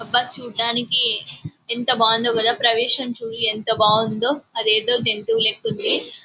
అబ్భా చూడటానికి ఎంత బాగుంది కదా ప్రవేశం చూడు యెంత బాగుందో అదేదో జంతువూ లెక్క ఉంది.